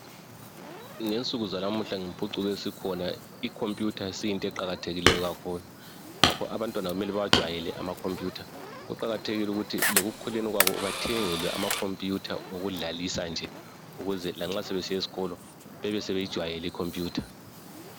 Ngensuku zalamula ngempucuko esikhona, icomputer isiyinto eqakathekileyo kakhulu. Ngakho abantwana kumele bawajwayele amacomputer. Kuqakathekile lokuthi lekukhuleni kwabo, bathengelwe amacomputer okudlalisa nje. Ukuze lanxa sebesiya esikolo, sebeyijwayele icomputer.